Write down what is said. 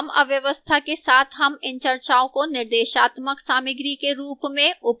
कम अव्यवस्था के साथ हम इन चर्चाओं को निर्देशात्मक सामग्री के रूप में उपयोग कर सकते हैं